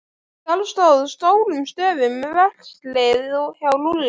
Þar stóð stórum stöfum: Verslið hjá Lúlla.